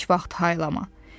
Heç vaxt haylama.